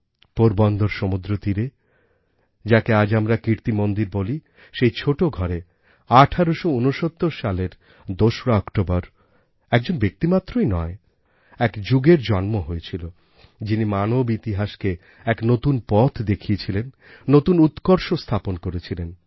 পোরবন্দর সমুদ্রতীরে যাকে আজ আমরা কীর্তিমন্দির বলি সেই ছোটো ঘরে ১৮৬৯ সালের ২রা অক্টোবর একজন ব্যক্তিমাত্রই নয় এক যুগের জন্ম হয়েছিল যিনি মানব ইতিহাসকে এক নূতন পথ দেখিয়েছিলেন নূতন উৎকর্ষ স্থাপন করেছিলেন